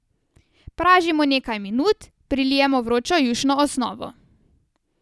Pražimo nekaj minut, prilijemo vročo jušno osnovo.